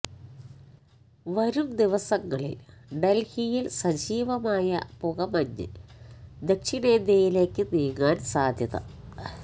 വരും ദിവസങ്ങളിൽ ഡൽഹിയിൽ സജീവമായ പുകമഞ്ഞ് ദക്ഷിണേന്ത്യയിലേക്ക് നീങ്ങാൻ സാധ്യത